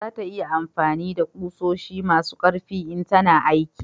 za ta yi amfani da ƙusoshi masu karfi in tana aiki